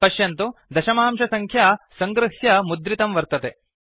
पश्यन्तु दशमांशसङ्ख्या सङ्गृह्य मुद्रितं वर्तते